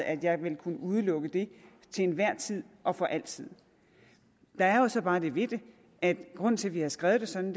at jeg vil kunne udelukke det til enhver tid og for altid der er så bare det ved det at grunden til at vi har skrevet det sådan